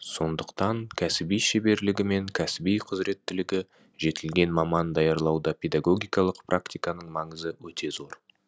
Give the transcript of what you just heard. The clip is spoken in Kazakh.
сондықтан кәсіби шеберлігі мен кәсіби құзіреттілігі жетілген маман даярлауда педагогикалық практиканың маңызы өте зор